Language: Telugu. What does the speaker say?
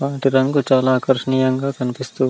మనకి ఈ రంగు చాలా ఆకర్షణీయంగా కనిపిస్తూ --